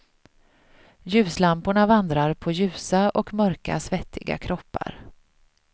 Ljuslamporna vandrar på ljusa och mörka svettiga kroppar.